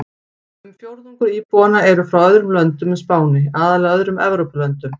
Um fjórðungur íbúanna eru frá öðrum löndum en Spáni, aðallega öðrum Evrópulöndum.